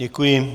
Děkuji.